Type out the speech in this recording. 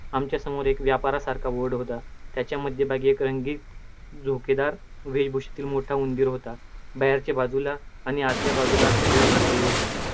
आमच्यासमोर एक व्यापारासारखा board होता, त्याच्या मध्यभागी एक रंगीत झुमकेदार मोठा उंदीर होता. बाहेरच्या बाजूला आणि आतल्या बाजूला असे दोन मार्गही होते.